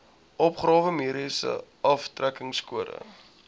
opgawe mediese aftrekkingskode